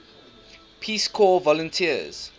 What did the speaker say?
peace corps volunteers